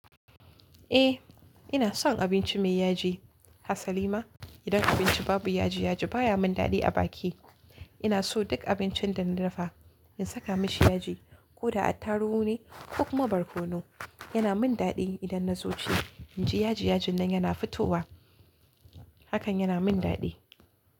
Eh ina son abinci mai yaji. Hasa Lima idan abinci babu yaji yaji baya min daɗi a baki. Ina so duk abincin da na dafa in saka mashi yaji ko da attarugu ne ko kuma barkono. Yana min daɗi idan na zo ci inji yaji yajin nan yana fitowa hakan yana min daɗi.